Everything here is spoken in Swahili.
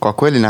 Kwa kweli